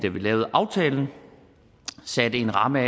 lavede aftalen satte vi en ramme